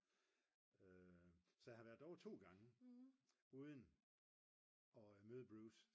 så jeg har været derovre 2 gange uden at møde Bruce